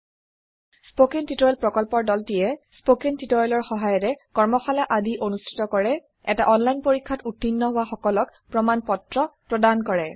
spoken tutorial প্ৰকল্পৰ দলটিয়ে spoken টিওটৰিয়েলৰ সহায়েৰে কৰ্মশালা আদি অনুষ্ঠিত কৰে এটা অনলাইন পৰীক্ষাত উত্তীৰ্ণ হোৱা সকলক প্ৰমাণ পত্ৰ প্ৰদান কৰে